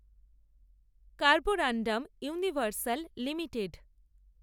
carborundum Universal limited